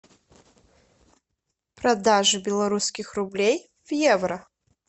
продажа белорусских рублей в евро